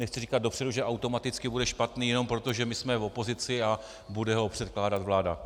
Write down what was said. Nechci říkat dopředu, že automaticky bude špatný, jenom proto, že my jsme v opozici a bude ho předkládat vláda.